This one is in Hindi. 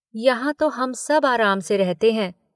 यहाँ तो हम सब आराम से रहते हैं।